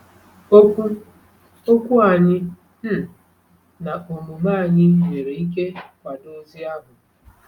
Okwu Okwu anyị um na omume anyị nwere ike kwado ozi ahụ.